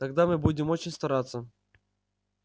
тогда мы будем очень стараться